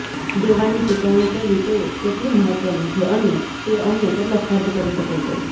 દેવાંની ચૂકવણી કરવી તે કેટલું મહત્વનું છે અને તે અમને કેટલો ખર્ચ કરી શકે છે